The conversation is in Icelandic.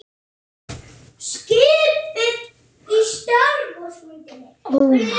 Við biðum átekta.